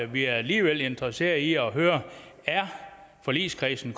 vi alligevel interesseret i at høre er forligskredsen